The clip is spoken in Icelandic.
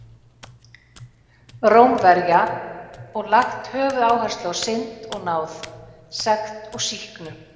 Rómverja og lagt höfuðáherslu á synd og náð, sekt og sýknu.